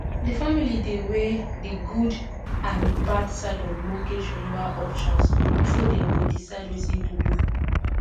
the family dey weigh the good and bad side of mortgage renewal options before them go decide wetin to do